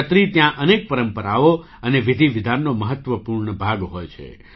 છત્રી ત્યાં અનેક પરંપરાઓ અને વિધિ વિધાનનો મહત્ત્વપૂર્ણ ભાગ હોય છે